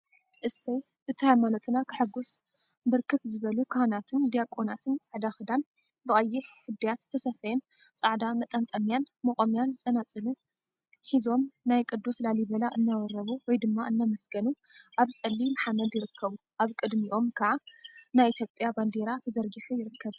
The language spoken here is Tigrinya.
እሰይ እቲ ሃይማኖትና ከሐጉስ! ብርክት ዝበሉ ካህናትን ድያቆናትን ፃዕዳ ክዳን፣ ብቀይሕ እድያት ዝተሰፈየን ፃዕዳ መጠምጠሚያን፣ መቆሚያን ፀናፅልን ሒዞምንናይ ቅዱስ ላሊበላ እናወረቡ/እናመስገኑ አብ ፀሊም ሓመድ ይርከቡ፡፡ አብ ቅድሚኦም ከዓ ናይ ኢትዮጵያ ባንዴራ ተዘርጊሑ ይርከብ፡፡